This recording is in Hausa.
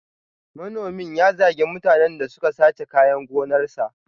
Manomin ya zagi mutanen da suka sace kayan gonarsa.